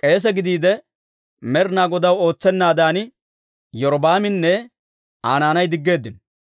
k'eese gidiide Med'inaa Godaw ootsennaadan, Iyorbbaaminne Aa naanay diggeeddino.